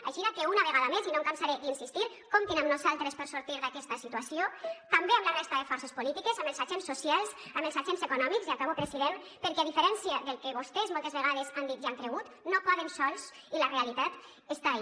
aixina que una vegada més i no em cansaré d’insistir hi comptin amb nosaltres per sortir d’aquesta situació també amb la resta de forces polítiques amb els agents socials amb els agents econòmics i acabo president perquè a diferència del que vostès moltes vegades han dit i han cregut no poden sols i la realitat està ahí